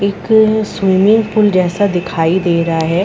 एक swimming pool जैसा दिखाई दे रहा है।